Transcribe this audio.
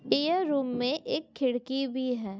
यह रूम मे एक खिड़की भी है।